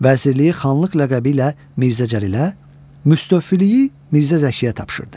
Vəzirliyi Xanlıq ləqəbi ilə Mirzə Cəlilə, müstəvfiliyi Mirzə Zəkiyə tapşırdı.